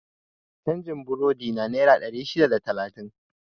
Canjin burodina naira ɗari shida da naira talatin